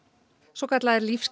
svokallaðir